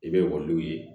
I bɛ ekɔli ye